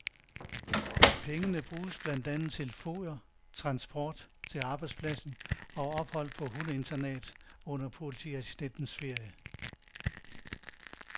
Pengene bruges blandt andet til foder, transport til arbejdspladsen og ophold på hundeinternat under politiassistentens ferie.